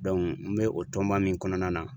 n bɛ o tɔnba min kɔnɔna na